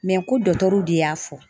ko dɔtɔruw de y'a fɔ.